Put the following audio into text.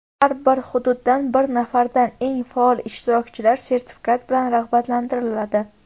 har bir hududdan bir nafardan eng faol ishtirokchilar sertifikat bilan rag‘batlantiriladi.